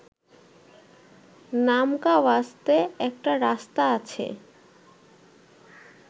নামকাওয়াস্তে একটা রাস্তা আছে